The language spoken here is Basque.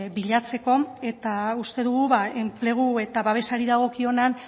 bilatzeko eta uste dugu enplegu eta babesari dagokionean